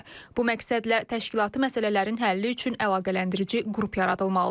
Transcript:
Bu məqsədlə təşkilati məsələlərin həlli üçün əlaqələndirici qrup yaradılmalıdır.